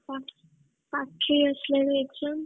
ପା~ ପାଖେଇ ଆସିଲାଣି exam